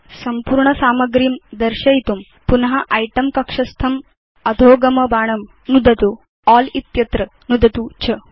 संपूर्ण सामग्रीं दर्शयितुं पुन इतें कक्षस्थम् अधोगम बाणं नुदतु अल् इत्यत्र नुदतु च